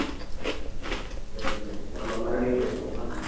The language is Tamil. சரி பவிஸ் நம்ம மறுபடியும் பேசுவோமா